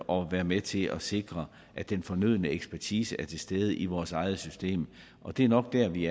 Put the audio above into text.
og være med til at sikre at den fornødne ekspertise er til stede i vores eget system og det er nok der vi